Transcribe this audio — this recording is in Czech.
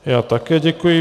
Já také děkuji.